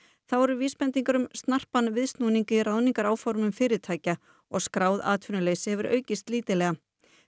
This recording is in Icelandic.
þá eru vísbendingar um snarpan viðsnúning í fyrirtækja og skráð atvinnuleysi hefur aukist lítillega